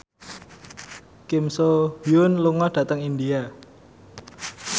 Kim So Hyun lunga dhateng India